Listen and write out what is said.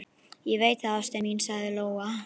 Ég veit það, ástin mín, sagði Lóa.